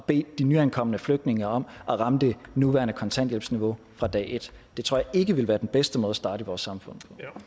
bede de nyankomne flygtninge om at ramme det nuværende kontanthjælpsniveau fra dag et det tror jeg ikke ville være den bedste måde at starte i vores samfund